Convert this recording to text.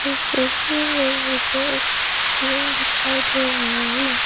इस तस्वीर में मुझे एक रूम दिखाई दे रहा है।